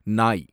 நாய்